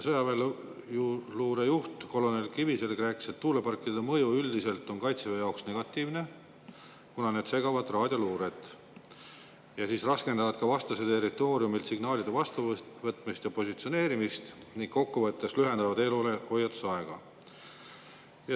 Sõjaväeluure juht kolonel Kiviselg rääkis, et tuuleparkide mõju on Kaitseväe jaoks üldiselt negatiivne, kuna need segavad raadioluuret ja raskendavad ka vastase territooriumilt signaalide vastuvõtmist ja positsioneerimist ning kokkuvõttes lühendavad eelhoiatusaega.